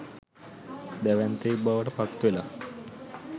දැවැන්තයෙක් බවට පත්වෙලා.